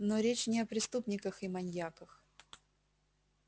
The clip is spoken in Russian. но речь не о преступниках и маньяках